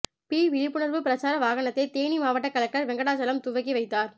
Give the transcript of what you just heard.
B விழிப்புணர்வு பிரச்சார வாகனத்தை தேனி மாவட்ட கலெக்டர் வெங்கடாசலம் துவக்கி ைவத்தார்